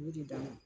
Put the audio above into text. U ye dean